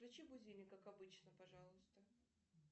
включи будильник как обычно пожалуйста